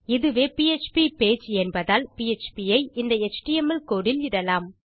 இதுவே PHP page என்பதால் PHP ஐ இந்த எச்டிஎம்எல் கோடு இல் இடலாம்